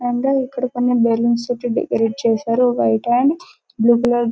ఇక్కడ కొన్ని బల్లోన్స్ తో డెకరేట్ చేశారు అకైనే బ్లూ .